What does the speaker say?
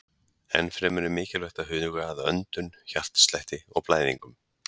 Enn fremur er mikilvægt að huga að öndun, hjartslætti og blæðingum.